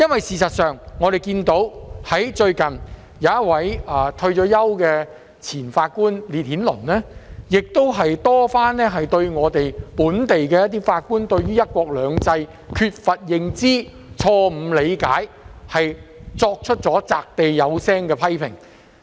事實上，最近，退休法官烈顯倫多番對於本地法官對"一國兩制"缺乏認知、錯誤理解，作出擲地有聲的批評。